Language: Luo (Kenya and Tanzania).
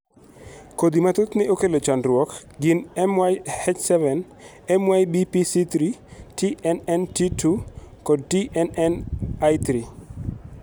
Kodhi ma thothne okelo chandruok gin MYH7, MYBPC3, TNNT2, kod TNNI3.